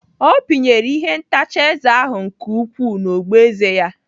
Ọ pinyere ihe ntacha eze ahụ nke ukwuu n'ogboeze ya.